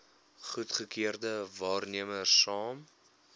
goedgekeurde waarnemers saam